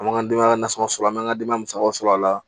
An b'an ka denbaya nasɔn sɔrɔ a m'an ka denbaw sɔrɔ a la